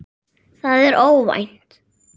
Það er óvænt.